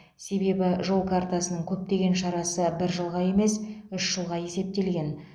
себебі жол картасының көптеген шарасы бір жылға емес үш жылға есептелген